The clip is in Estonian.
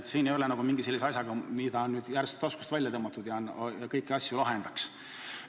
Siin ei ole tegemist mingi sellise asjaga, mis oleks nüüd järsku taskust välja tõmmatud ja mis kõik asjad lahendaks.